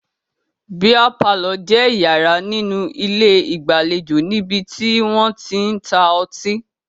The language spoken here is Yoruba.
Bíà palọ̀ jẹ́ yàrá nínú ilé ìgbàlejò níbi tí wọ́n tí ń ta ọtí